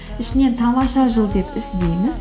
ішінен тамаша жыл деп іздеңіз